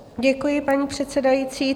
Děkuji, paní předsedající.